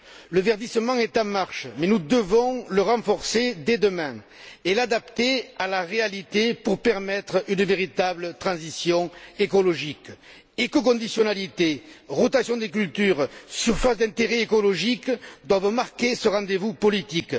Le verdissement est en marche, mais nous devons le renforcer dès demain et l'adapter à la réalité, pour permettre une véritable transition écologique écoconditionnalité, rotation des cultures, surfaces d'intérêt écologique doivent marquer ce rendez vous politique.